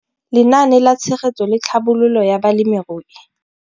Lenaane la Tshegetso le Tlhabololo ya Balemirui